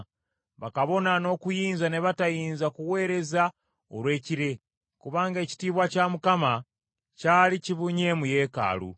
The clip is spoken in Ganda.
bakabona n’okuyinza ne batayinza kuweereza olw’ekire, kubanga ekitiibwa kya Mukama kyali kibunye mu yeekaalu.